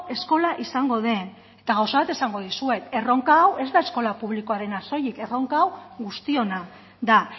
eskola izango den eta gauza bat esango dizuet erronka hau ez da eskola publikoarena soilik erronka hau guztiona da